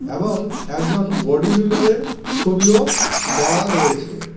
এবং একজন বডি বিল্ডারের ছবিও দেওয়া রয়েছে .